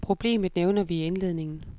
Problemet nævner vi i indledningen.